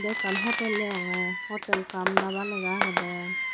ekkan hotel deyongey hotel cum dhaba lega agedey.